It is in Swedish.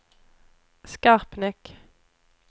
Skarpnäck